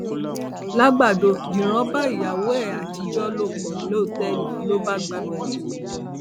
làgbàdo dírán bá ìyàwó ẹ àtijọ lò pọ lọtẹẹlì ló bá gbabẹ kú